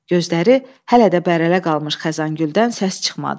Gözləri hələ də bərələ qalmış Xəzəngüldən səs çıxmadı.